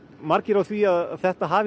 margir á því að þetta hafi